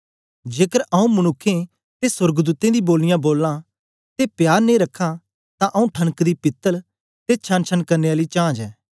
जेकर आऊँ मनुक्खें ते सोर्गदूतें दी बोलियां बोलां ते प्यार नेई रखां तां आऊँ ठनकदी पीतल ते छनछन करने आली झाँझ ऐं